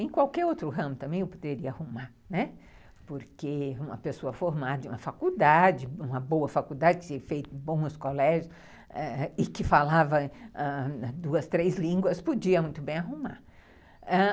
Em qualquer outro ramo também eu poderia arrumar, né, porque uma pessoa formada em uma faculdade, uma boa faculdade, que tinha feito bons colégios e que falava ãh duas, três línguas, podia muito bem arrumar.